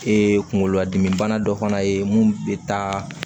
kunkolo ladimi bana dɔ fana ye mun bɛ taa